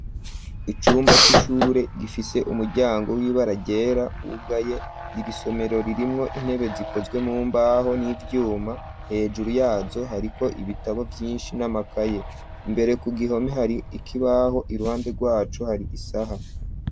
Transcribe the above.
Icumba c'ishure gifise umuryango w'ibara ryera wugaye irisomero ririmwo intebe zikozwe mumbaho n'ivyuma hejuru yazo hariko ibitabo vyinshi n'amakaye mbere ku gihome hari ikibaho iruhande rwaco hari isaha.